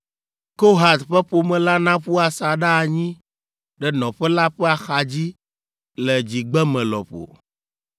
Kohat ƒe ƒome la naƒu asaɖa anyi ɖe nɔƒe la ƒe axadzi le dzigbeme lɔƒo.